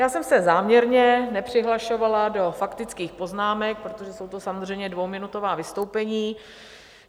Já jsem se záměrně nepřihlašovala do faktických poznámek, protože jsou to samozřejmě dvouminutová vystoupení.